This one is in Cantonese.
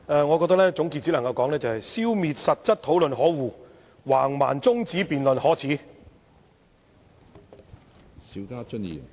我只能說：消滅實質討論可惡，橫蠻中止辯論可耻。